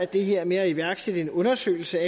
det her med at iværksætte en undersøgelse